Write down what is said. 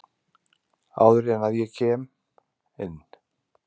Áður en að ég kem inn.